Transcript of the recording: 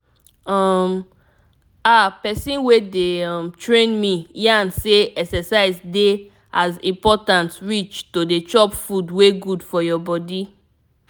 um ahh person wey dey um train me yarn say exercise dey as important reach to dey chop food wey good for your body